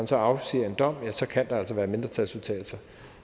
så afsiges en dom kan der være mindretalsudtalelser